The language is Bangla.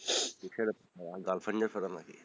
কিসের এত প্যারা girlfriend প্যারা নাকি?